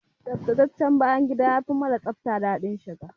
Tsaftataccen bayan gida yafi mara tsafta daɗin shiga.